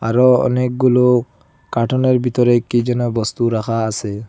আরও অনেকগুলো কার্টুনের বিতরে কি যেন বস্তু রাখা আসে।